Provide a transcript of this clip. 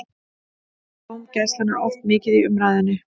Dómgæslan er oft mikið í umræðunni.